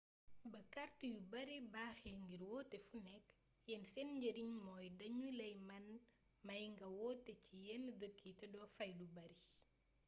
ba kàrt yu bare baaxee ngir woote fu nekk yenn seen njëriñ mooy danuy la mëna may nga woote ci yen dëkk yii te do fay lu bare